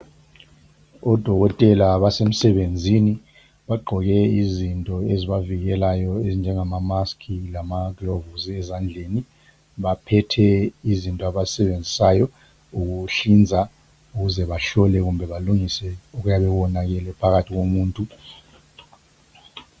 Odokotela basemsebenzini. Bagqoke izinto ezibavikelayo, ezinjengama masks lamagilovisi ezandleni. Baphethe izinto abazisebenzisayo ukuhlinza ukuze bahlole kimbe balungise, okuyabe konakele, phakathi komuntu.